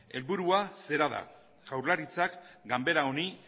helburua zera da jaurlaritzak ganbera honi